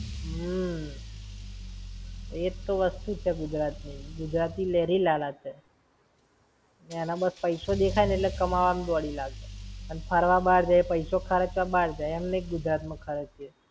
હમ્મ. એ જ તો વસ્તુ છે, ગુજરાત ની. ગુજરાતી લહેરી લાલા છે! એને બસ પૈસો દેખાય એટલા કમાવા માં દોડી લાગે. અને ફરવા બાર જાય, પૈસો ખર્ચવા બાર જાય, એમ નાઈ કે ગુજરાત માં ખરચીયે!